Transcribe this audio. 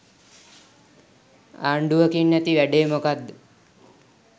ආණ්ඩුවකින් ඇති වැඩේ මොකක්ද?